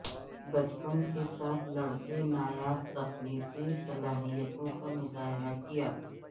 بچپن کے ساتھ لڑکے نایاب تخلیقی صلاحیتوں کا مظاہرہ کیا